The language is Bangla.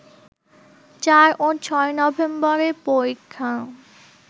৪ ও ৬ নভেম্বরের পরীক্ষা